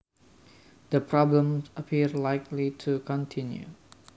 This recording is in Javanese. The problems appear likely to continue